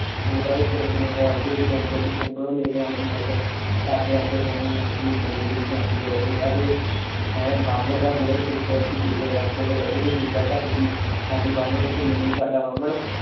ਉਹੰਦਾ ਵੀ ਅਪਰੇਸ਼ਨ ਹੋਇਆ। ਉਹਂਦੇ ਵੀ Lens ਪਤਾ ਨਹੀਂ ਰੋਸ਼ਨੀ ਚੱਲੀ ਜਾਂਦੀ ਏ ਬਾਹਮਣ ਦਾ ਬੁੜਾ ਸ਼ੂਗਰ ਸੀ। ਸ਼ੁਗਰ ਕਰਕੇ ਉਂਦੇ ਡੈਡੀ ਦੀ ਨਿਗਾ ਘੱਟ ਗਈ। ਤਾਹਿ ਬਾਹਮਣ